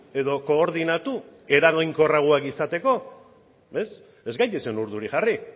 edo koordinatu eraginkorragoak izateko ez gaitezen urduri jarri